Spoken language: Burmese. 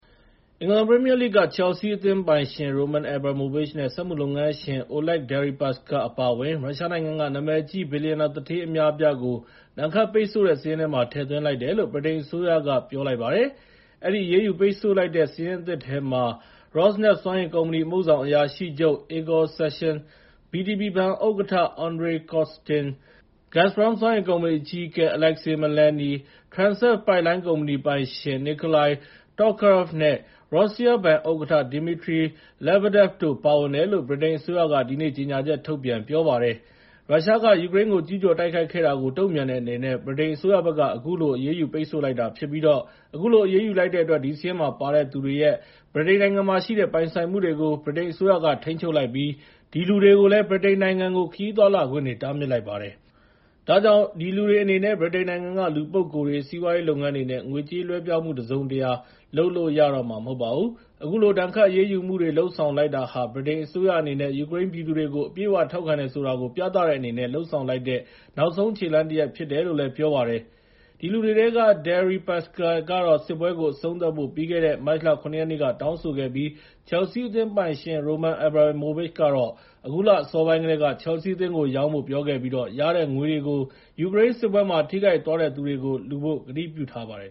အင်္ဂလန်ပရီမီယာလိဂ်က ချယ်လ်ဆီးအသင်းပိုင်ရှင် Roman Abramovich နဲ့ စက်မှုလုပ်ငန်းရှင် Oleg Deripaska အပါအဝင် ရုရှားနိုင်ငံက နာမည်ကြီး ဘီလျံနာသူဋ္ဌေး အများအပြားကို ဒဏ်ခတ်ပိတ်ဆို့တဲ့စာရင်းမှာ ထည့်သွင်းလိုက်တယ်လို့ ဗြိတိန်အစိုးရက ပြောလိုက်ပါတယ်။ အဲဒီ အရေးယူပိတ်ဆို့လိုက်တဲ့ စာရင်းအသစ်ထဲမှာ Rosneft စွမ်းအင်ကုမ္ပဏီ အမှုဆောင်အရာရှိချုပ် Igor Sechin ၊ VTB ဘဏ်ဥက္ကဋ္ဌ Andrei Kostin နဲ့ Gasprom စွမ်းအင် ကုမ္ပဏီအကြီးအကဲ Aleksei Miller၊၊ Transeft ပိုက်လိုင်းကုမ္ပဏီပိုင်ရှင် Nikolai Tokarev နဲ့ Rossia ဘဏ်ဥက္ကဋ္ဌ Dmitry Lebedev တို့ ပါဝင်တယ်လို့ ဗြိတိန်အစိုးရက ဒီနေ့ ကြေညာချက်ထုတ်ပြန် ပြောကြားတာပါ။ ရုရှားကယူကရိန်းကို ကျူးကျော်တိုက်ခိုက်ခဲ့တာကို တုံ့ပြန်တဲ့အနေနဲ့ ဗြိတိန်အစိုးရဘက် က အခုလို အရေးယူပိတ်ဆို့လိုက်တာ ဖြစ်ပြီး အခုလို အရေးယူလိုက်တဲ့အတွက် ဒီစာရင်းမှာပါတဲ့သူတွေရဲ့ ဗြိတိန်နိုင်ငံမှာရှိတဲ့ ပိုင်ဆိုင်မှုတွေကို ဗြိတိန်အစိုးရက ထိန်းချုပ်လိုက်ပြီး ဒီလူတွေကိုလည်း ဗြိတိန်နိုင်ငံကို ခရီးသွားလာခွင့်တွေ တားမြစ်လိုက်တာဖြစ်ပါတယ်။ ဒါကြောင့် အဲဒီလူတွေ အနေနဲ့ ဗြိတိန်နိုင်ငံက လူပုဂ္ဂိုလ်တွေ စီးပွားရေးလုပ်ငန်းတွေနဲ့ ငွေကြေးလွဲှပြောင်းမှုတွေလည်း လုပ်လို့မရအောင် တားမြစ်လိုက်တာဖြစ်ပါတယ်။ အခုလို ဒဏ်ခတ်အရေးယူမှုတွေ လုပ်ဆောင်လိုက်တာဟာ ဗြိတိန်အစိုးရအနေနဲ့ ယူကရိန်းပြည်သူတွေကို အပြည့်အဝထောက်ခံတယ်ဆိုတာကို ပြသတဲ့အနေနဲ့ လုပ်ဆောင်လိုက်တဲ့ နောက်ဆုံးခြေလှမ်းတရပ်ဖြစ်တယ်လို့ ပြောပါတယ်။ အဲဒီလူတွေထဲက Deripaska ကတော့ စစ်ပွဲကို အဆုံးသတ်ဖို့ ပြီးခဲ့တဲ့ မတ်လ ၇ ရက်နေ့က တောင်းဆိုခဲ့ပြီး ချယ်လ်ဆီး အသင်းပိုင်ရှင် ရိုမန်အက်ဘရာမိုဗစ်ချ်ကတော့ အခုလအစောပိုင်းကတည်းက ချယ်လ်ဆီးအသင်းကိုရောင်းမယ်လို့ ပြောခဲ့သလို ရတဲ့ငွေတွေကို ယူကရိန်းစစ်ပွဲမှာ ထိခိုက်သွားတဲ့သူတွေကို လှူဖို့ကတိပြုထားပါတယ်